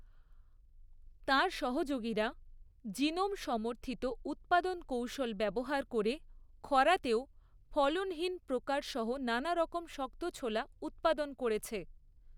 তাঁর সহযোগীরা জিনোম সমর্থিত উৎপাদন কৌশল ব্যবহার করে খরাতেও ফলনশীল প্রকারসহ নানারকম শক্ত ছোলা উৎপাদন করেছে।